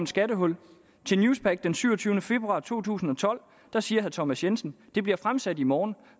skattehul til newspaq den syvogtyvende februar to tusind og tolv siger thomas jensen det bliver fremsat i morgen